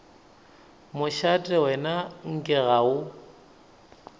mošate wena nke ga o